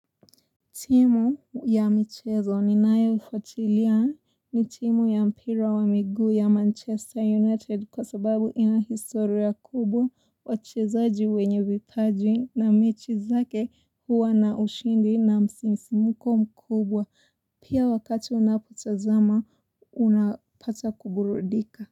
Timu ya michezo ninayoifuatilia ni timu ya mpira wa miguu ya Manchester United kwa sababu ina historia kubwa wachezaji wenye vipaji na mechi zake huwa na ushindi na msisimuko mkubwa. Pia wakati unapotazama unapata kuburudika.